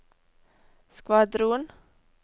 skvadron